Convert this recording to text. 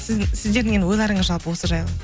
сіздердің енді ойларыңыз жалпы осы жайлы